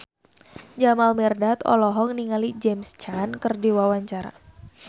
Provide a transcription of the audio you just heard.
Jamal Mirdad olohok ningali James Caan keur diwawancara